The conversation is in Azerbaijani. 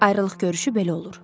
Ayrılıq görüşü belə olur.